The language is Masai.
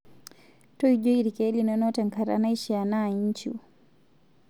Toijoi ilkek linono tenkataa naishia naa nchiu